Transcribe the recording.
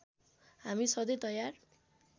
हामी सधैँ तयार